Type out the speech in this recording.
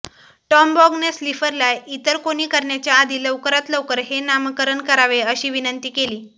टॉमबॉघने स्लिफरला इतर कोणी करण्याच्या आधी लवकरात लवकर हे नामकरण करावे अशी विनंती केली